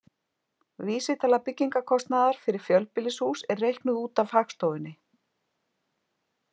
Vísitala byggingarkostnaðar fyrir fjölbýlishús er reiknuð út af Hagstofunni.